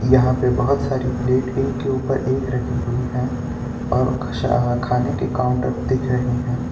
यहां पे बहुत सारी प्लेट एक के ऊपर एक रखी हुई है और खाने के काउंटर दिख रहे हैं।